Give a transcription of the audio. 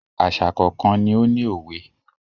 Àṣà kọ̀ọ̀kan ni ó ní òwe.